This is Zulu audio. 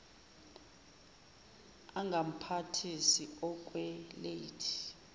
angamphathisi okwe lady